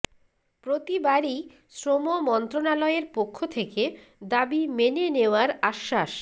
প্রতিবারই শ্রম মন্ত্রণালয়ের পক্ষ থেকে দাবি মেনে নেওয়ার আশ্বাস